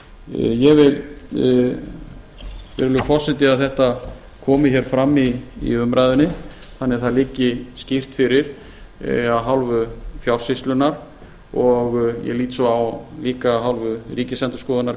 ég vil virðulegur forseti að þetta komi hér fram í umræðunni þannig að það liggi skýrt fyrir af hálfu fjársýslunnar og ég lít svo á líka af hálfu ríkisendurskoðunar